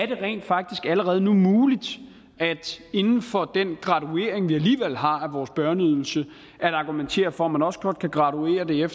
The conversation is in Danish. det rent faktisk allerede nu er muligt inden for den graduering vi alligevel har af vores børneydelse at argumentere for at man også godt kan graduere